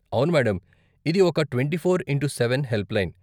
అవును మేడం, ఇది ఒక twenty four into seven helpline.